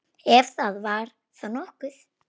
Ef það var þá nokkuð.